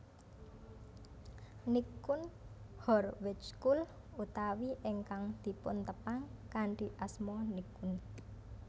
Nichkhun Horvejkul utawi ingkang dipuntepang kanthi asma Nichkhun